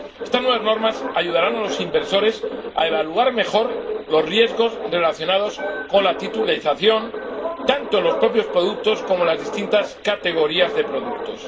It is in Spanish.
Estas nuevas normas ayudarán a los inversores a evaluar mejor los riesgos relacionados con la titulización, tanto en los propios productos como en las distintas categorías de productos.